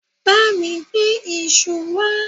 bami gbe isu wa